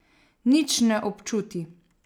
Nič ne občuti.